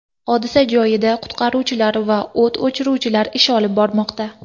Hodisa joyida qutqaruvchilar va o‘t o‘chiruvchilar ish olib bormoqda.